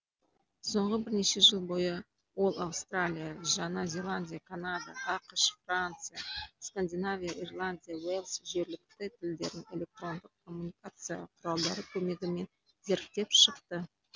соңғы бірнеше жыл бойы ол аустралия жаңа зеландия канада ақш франция скандинавия ирландия уэлс жергілікті тілдерін электрондық коммуникация құралдары көмегімен зерттеп шықты